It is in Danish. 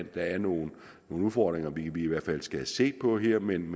er nogle udfordringer vi i hvert fald skal have set på her men